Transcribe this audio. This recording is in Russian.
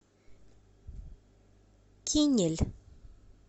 кинель